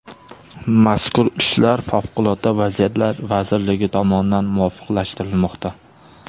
Mazkur ishlar Favqulodda vaziyatlar vazirligi tomonidan muvofiqlashtirilmoqda.